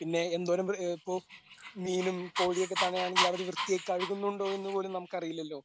പിന്നെ എന്തോരം കോ മീനും കോഴിയുമൊക്കെ തന്നെ ആണെങ്കിൽ വൃത്തിയായി കഴിക്കുന്നുണ്ടോ എന്ന് പോലും നമുക്ക് അറിയില്ലല്ലോ